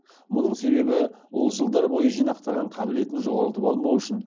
мұның себебі ол жылдар бойы жинақтаған қабілетін жоғалтып алмау үшін